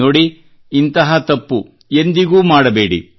ನೋಡಿ ಇಂತಹ ತಪ್ಪು ಎಂದಿಗೂ ಮಾಡಬೇಡಿ